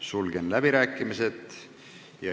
Sulgen läbirääkimised.